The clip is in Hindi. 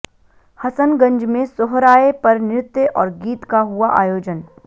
हसनगंज में सोहराय पर नृत्य और गीत का हुआ आयोजन